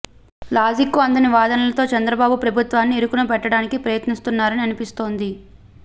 logic కు అందని వాదనలతో చంద్రబాబు ప్రభుత్వాన్ని ఇరుకున పెట్టడానికి ప్రయత్నిస్తున్నారని అనిపిస్తోంది